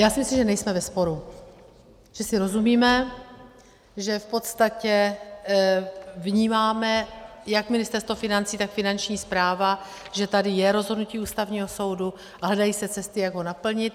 Já si myslím, že nejsme ve sporu, že si rozumíme, že v podstatě vnímáme jak Ministerstvo financí, tak Finanční správa, že tady je rozhodnutí Ústavního soudu, a hledají se cesty, jak ho naplnit.